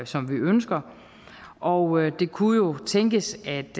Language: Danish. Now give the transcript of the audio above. som vi ønsker og det kunne jo tænkes at